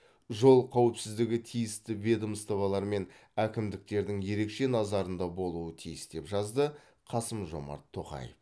жол қауіпсіздігі тиісті ведомстволар мен әкімдіктердің ерекше назарында болуы тиіс деп жазды қасым жомарт тоқаев